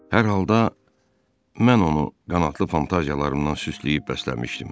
Hər halda mən onu qanadlı fantaziyalarımdan süsləyib bəsləmişdim.